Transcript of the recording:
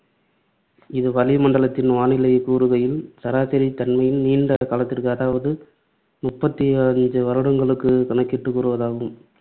இது வளி மண்டலத்தின் வானிலைக் கூறுகளின் சராசரி தன்மையின் நீண்ட காலத்திற்கு அதாவது முப்பத்தி ஐந்து வருடங்களுக்கு கணக்கிட்டுக் கூறுவதாகும்.